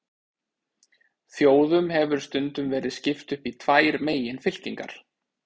Þjóðum hefur stundum verið skipt upp í tvær meginfylkingar.